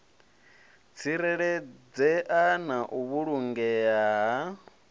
tsireledzea na u vhulangea ha